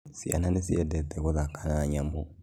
Ciana nĩciendete gũthaka na nyamũ